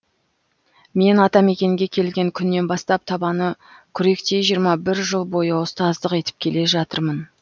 мен атамекенге келген күннен бастап табаны күректей жиырма бір жыл бойы ұстаздық етіп келе жатырмын